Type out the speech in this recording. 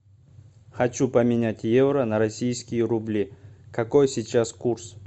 хочу поменять евро на российские рубли какой сейчас курс